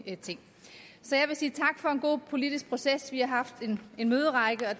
ting så jeg vil sige tak for en god politisk proces vi har haft en møderække og